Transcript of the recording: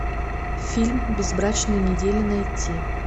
фильм безбрачная неделя найти